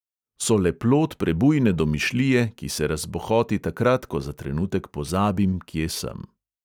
So le plod prebujne domišljije, ki se razbohoti takrat, ko za trenutek pozabim, kje sem.